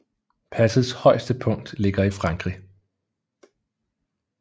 Passets højeste punkt ligger i Frankrig